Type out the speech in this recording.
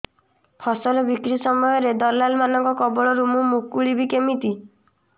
ଫସଲ ବିକ୍ରୀ ସମୟରେ ଦଲାଲ୍ ମାନଙ୍କ କବଳରୁ ମୁଁ ମୁକୁଳିଵି କେମିତି